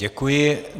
Děkuji.